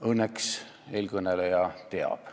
Õnneks eelkõneleja teab.